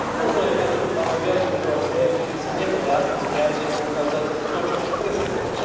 Možno aj preto tu máme viac mužov ako žien, ktorí sa neboja viacej poukázať na to, čo chcú presadzovať.